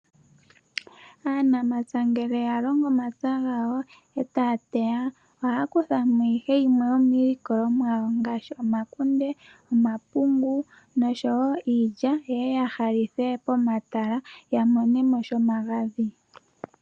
Aanamapya ngele ya longo omapya gawo eta ya teya, oha ya kutha mo ihe yimwe yomiilikolwa mo yawo ngaashi omakunde, omapungu noshowo iilya yeye ya halithe pomatala ya mone mo shomagadhi.